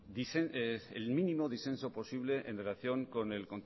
el mínimo disenso posible en relación con el